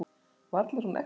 Varla er hún ekta.